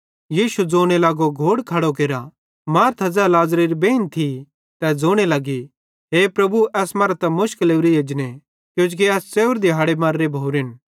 यीशु ज़ोने लगो घोड़ खड़ो केरा मार्था ज़ै लाज़री बेइन थी तै ज़ोने लगी हे प्रभु एस मरां त मुशक लोरीए एजने किजोकि एस च़ेव्रे दिहाड़े मर्रे भोरेन